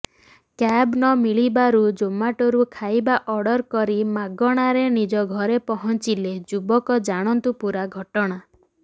cab ନ ମିଳିବାରୁ ଜୋମାଟୋରୁ ଖାଇବା ଅର୍ଡର କରି ମାଗଣାରେ ନିଜ ଘରେ ପହଞ୍ଚିଲେ ଯୁବକ ଜାଣନ୍ତୁ ପୂରା ଘଟଣା